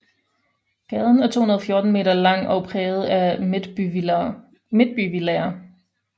Gaden er 214 meter lang og præget af midtbyvillaer